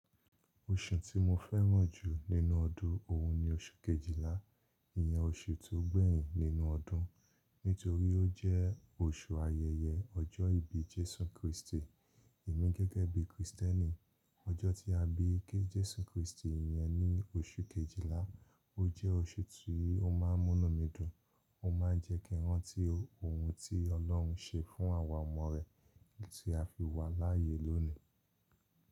Oṣù tí mo fẹ́ràn jù nínú ọdún òun ni oṣù Kejìlá, ìyẹn oṣù tó gbẹ̀yìn nínú ọdún nítorí ó jẹ́ oṣù ayẹyẹ ọjọ́ ìbí Jésù Krístì. Èmi gẹ́gẹ́ bí Kristẹ́nì, ọjọ́ tí a bí Jésù Krístì yẹn ní oṣù Kejìlá, ó jẹ́ oṣù tí ó máa ń múni mi dùn. Ó máa ń jẹ́ kí n rán tí ohun tí Ọlọ́run ṣe fún àwa ọmọ rẹ̀ tí a fi wà láàyè lónìí.